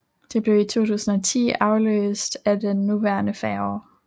Den blev i 2010 afløst af den nuværende færge